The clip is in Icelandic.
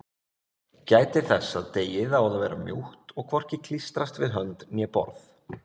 Gætið þess að deigið á að vera mjúkt og hvorki klístrast við hönd né borð.